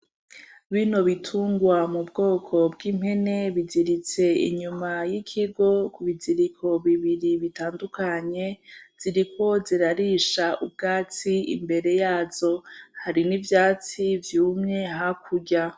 Bino bitungwa mu bwoko bw'impene biziritse inyuma y'ikigo ku biziriko bibiri bitandukanye, ziriko zirarisha ubwatsi imbere yazo. Hari n'ivyatsi vyumye hakurya.